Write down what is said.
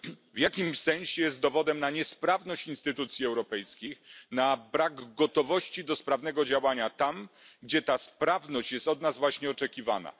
W jakimś sensie jest dowodem na niesprawność instytucji europejskich, na brak gotowości do sprawnego działania tam, gdzie ta sprawność jest od nas właśnie oczekiwana.